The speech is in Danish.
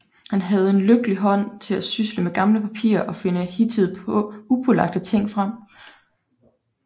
Han havde en lykkelig hånd til at sysle med gamle papirer og finde hidtil upåagtede ting frem